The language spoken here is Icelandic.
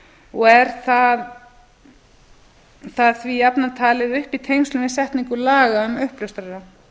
og er það því jafnan talið upp í tengslum við setningu laga um uppljóstrara